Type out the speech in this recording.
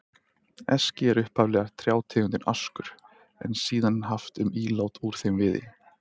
Eski er upphaflega trjátegundin askur, en síðan haft um ílát úr þeim viði.